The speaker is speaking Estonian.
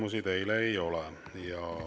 Küsimusi teile ei ole.